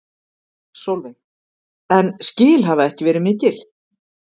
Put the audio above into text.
Sólveig: En skil hafa ekki verið mikil?